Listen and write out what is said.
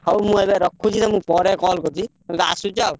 ହଉ ମୁଁ ଏବେ ରଖୁଛି ତମୁକୁ ପରେ call କରୁଚି। ତମେ ତ ଆସୁଛ ଆଉ।